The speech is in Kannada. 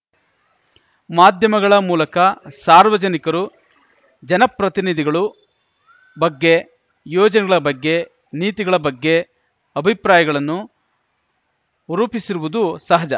ಮಾಧ್ಯಮಗಳ ಮೂಲಕ ಸಾರ್ವಜನಿಕರು ಜನಪ್ರತಿನಿಧಿಗಳು ಬಗ್ಗೆ ಯೋಜನೆಗಳ ಬಗ್ಗೆ ನೀತಿಗಳ ಬಗ್ಗೆ ಅಭಿಪ್ರಾಯಗಳನ್ನು ರೂಪಿಸಿರುವುದು ಸಹಜ